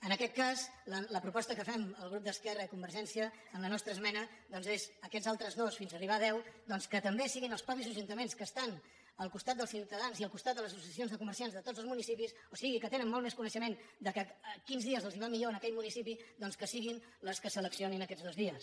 en aquest cas la proposta que fem el grup d’esquerra i convergència amb la nostra esmena és aquests altres dos fins a arribar a deu que també siguin els mateixos ajuntaments que estan al costat dels ciutadans i al costat de les associacions de comerciants de tots els municipis o sigui que tenen molt més coneixement de quins dies els va millor en aquell municipi els que els seleccionin aquests dos dies